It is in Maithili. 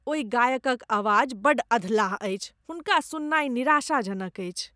ओहि गायकक आवाज बड्ड अधलाह अछि। हुनका सुननाइ निराशाजनक अछि।